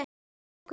Og okkur alla.